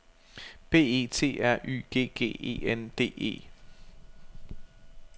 B E T R Y G G E N D E